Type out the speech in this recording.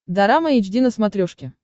дорама эйч ди на смотрешке